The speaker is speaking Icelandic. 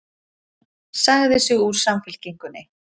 Sagði sig úr Samfylkingunni